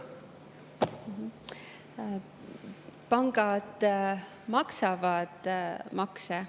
Pangad maksavad makse.